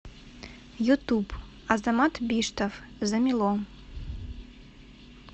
ютуб азамат биштов замело